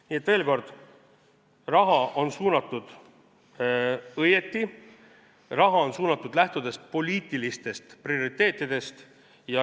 Nii et veel kord: raha on suunatud õigesti, raha on suunatud, lähtudes poliitilistest prioriteetidest.